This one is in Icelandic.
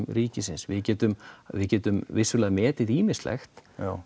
ríkisins við getum við getum vissulega metið ýmislegt